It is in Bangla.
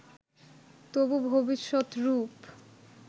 তবু ভবিষ্যৎ রূপ